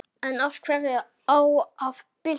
En hverju á að bylta?